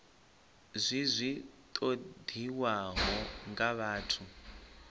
zwi zwi ṱoḓiwaho nga vhathu